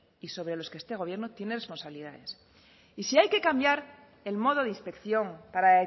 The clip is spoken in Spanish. y sobre los que este gobierno tiene posibilidades y si hay que cambiar el modo de inspección para